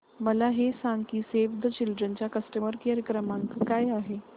मला हे सांग की सेव्ह द चिल्ड्रेन चा कस्टमर केअर क्रमांक काय आहे